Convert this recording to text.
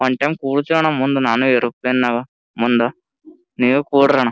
one time ಕುಡತೀನ್ ಅಣ್ಣ ಮುಂದ ನಾನು ಏರೋಪ್ಲೇನಿ ನಗಾ ಮುಂದ ನೀವು ಕುಡ್ರಣ --